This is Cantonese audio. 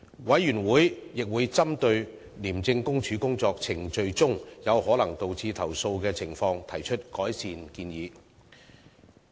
委員會亦會針對廉政公署工作程序中有可能導致投訴的情況，提出改善建議。